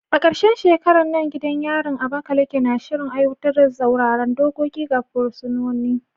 A karshen shekarar nan, gidan yarin Abakaleke na shirin aiwatar da tsauraran dokoki ga fursunonin.